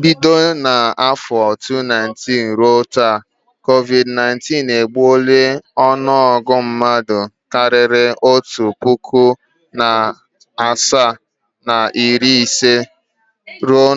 Bido n’afọ 2019 ruo taa, COVID_19 egbuola ọnụọgụgụ mmadụ karịrị otu puku, narị asaa na iri ise